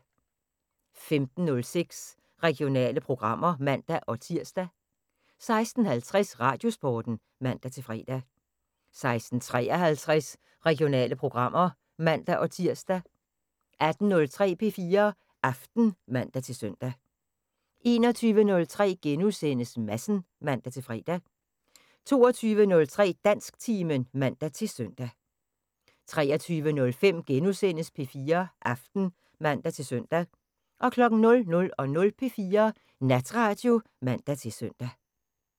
15:06: Regionale programmer (man-tir) 16:50: Radiosporten (man-fre) 16:53: Regionale programmer (man-tir) 18:03: P4 Aften (man-søn) 21:03: Madsen *(man-fre) 22:03: Dansktimen (man-søn) 23:05: P4 Aften *(man-søn) 00:05: P4 Natradio (man-søn)